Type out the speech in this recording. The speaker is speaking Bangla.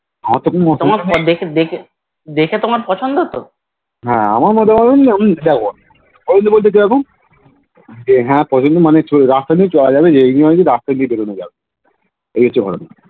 আমার তো মতামত হে আমার মতামত তো কেমন আমি তো বলছি দেখ যে হে দেখ কদিন রাতে হলে চলা যাবে রাতে হলে বেরোনো যাবে এই কিছু করার নেই